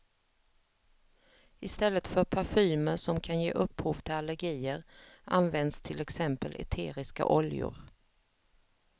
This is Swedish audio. I stället för parfymer som kan ge upphov till allergier används till exempel eteriska oljor.